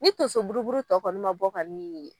Ni tonso buruburu tɔ kɔni ma bɔ kɔniii.